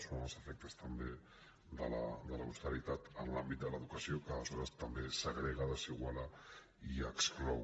són els efectes també de l’austeritat en l’àmbit de l’educació que aleshores també segrega desiguala i exclou